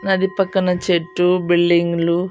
నది పక్కన చెట్టు బిల్డింగ్లు .